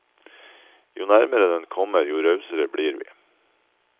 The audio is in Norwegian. Jo nærmere den kommer, jo rausere blir vi.